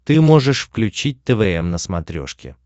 ты можешь включить твм на смотрешке